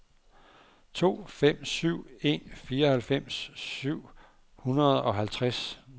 to fem syv en fireoghalvfems syv hundrede og halvtreds